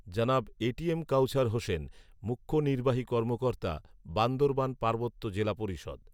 জনাব A T M Kawsar Hossain, মুখ্য নির্বাহী কর্মকর্তা, বান্দরবান পার্বত্য জেলা পরিষদ